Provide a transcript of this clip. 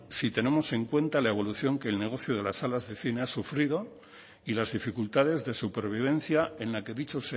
si tenemos en cuenta la evolución que el negocio de las salas del cine ha sufrido y las dificultades de supervivencia en la que dicho